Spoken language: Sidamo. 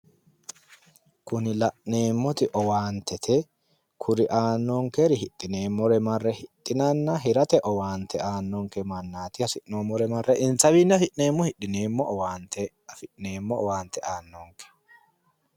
Kuni la'neemmoti owaantete, kuri aannonkeri hidhineemmore marre hidhinanna hirate owaante aannanonke mannaati has'noommore marre insawii afi'neemmo hidhineemmo owaante afi'neeemmo owaante aannonke.